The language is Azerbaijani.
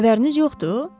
Xəbəriniz yoxdur?